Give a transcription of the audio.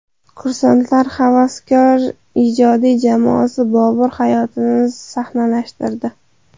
Kursantlar havaskor ijodiy jamoasi Bobur hayotini sahnalashtirdi.